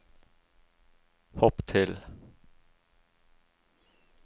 hopp til